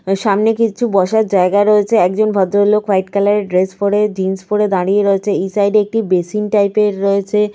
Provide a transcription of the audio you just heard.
সামনে কিছু বসার জায়গা রয়েছে। একজন ভদ্রলোক ওয়াইট কালার -এর ড্রেস পরে জিন্স পরে দাঁড়িয়ে রয়েছে। এই সাইড -এ একটি বেসিন টাইপ -এর রয়েছে।